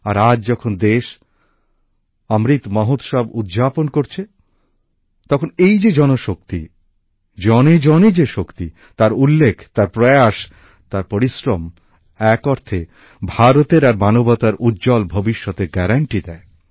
আর আজ যখন দেশ অমৃত মহোৎসব উদযাপন করছে তখন এই যে জনশক্তি জনেজনে যে শক্তি তার উল্লেখ তার প্রয়াস তার পরিশ্রম এক অর্থে ভারতের আর মানবতার উজ্জ্বল ভবিষ্যতের গ্যারান্টি দেয়